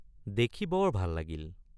দেখি বৰ ভাল লাগিল ।